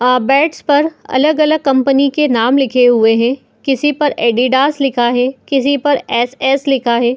आ bats पर अलग-अलग company के नाम लिखे हुए हैं। किसी पर एडीडास लिखा है किसी पर यस यस लिखा है।